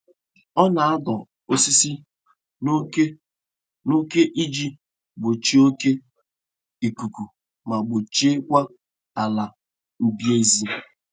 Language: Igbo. Ọ na-adọ osisi n'oke n'oke iji gbochie oke ikuku ma gbochie kwa ala mbize.